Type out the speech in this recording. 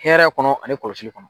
Hɛrɛ kɔnɔ ani kɔlɔsili kɔnɔ.